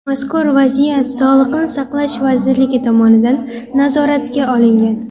Mazkur vaziyat Sog‘liqni saqlash vazirligi tomonidan nazoratga olingan.